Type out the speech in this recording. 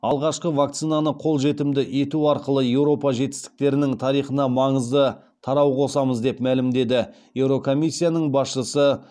алғашқы вакцинаны қолжетімді ету арқылы еуропа жетістіктерінің тарихына маңызды тарау қосамыз деп мәлімдеді еурокомиссияның басшысы